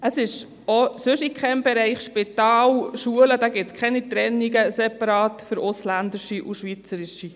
Es gibt auch in keinem anderen Bereich, etwa in Spitälern oder Schulen, Trennungen zwischen Ausländern und Schweizern.